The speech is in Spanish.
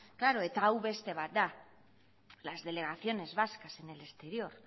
klaro eta hau beste bat da las delegaciones vascas en el exterior